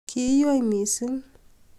Kiinywei mising